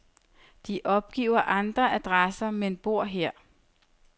De opgiver andre adresser, men bor her.